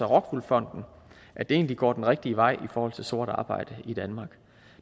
rockwool fonden at det egentlig går den rigtige vej i forhold til sort arbejde i danmark